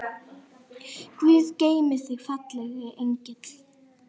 Guð geymi þig, fallegi engill.